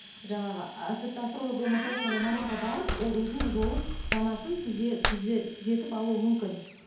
жаңағы ы тіпті астролог болмаса да сондай маманға барып ол өзінің жолын санасын түзетіп алуы мүмкін